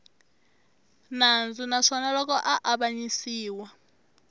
nandzu naswona loko a avanyisiwa